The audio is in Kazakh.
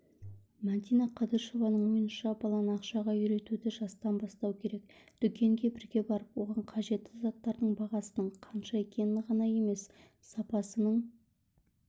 мәдина қадышеваның ойынша баланы ақшаға үйретуді жастан бастау керек дүкенге бірге барып оған қажетті заттардың бағасының қанша екенін ғана емес сапасының